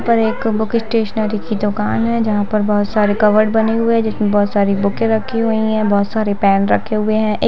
यहाँ पर एक बुक स्टेशनरी की दुकान है जहाँ पर बहुत सारे कबर्ड बने हुए है जिसमें बहुत सारी बूक रखी हुई है बहूत सारे पेन रखे हुए हैं।